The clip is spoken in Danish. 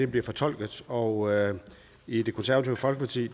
bliver fortolket og i det konservative folkeparti